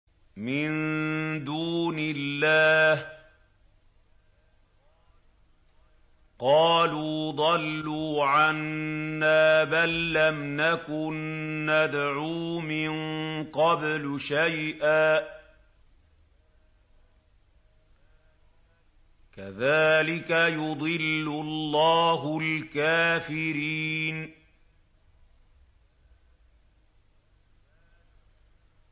مِن دُونِ اللَّهِ ۖ قَالُوا ضَلُّوا عَنَّا بَل لَّمْ نَكُن نَّدْعُو مِن قَبْلُ شَيْئًا ۚ كَذَٰلِكَ يُضِلُّ اللَّهُ الْكَافِرِينَ